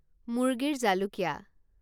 মুৰ্গীৰ জালুকীয়া